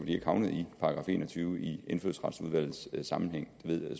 de ikke havnet i § en og tyve i indfødsretsudvalgets sammenhæng